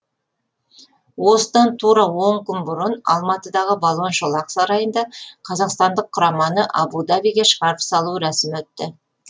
осыдан тура он күн бұрын алматыдағы балуан шолақ сарайында қазақстандық құраманы абу дабиге шығарып салу рәсімі өтті